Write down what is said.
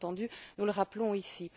Bien entendu, nous le rappelons ici.